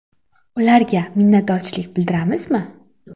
Ularga minnatdorchilik bildiramizmi?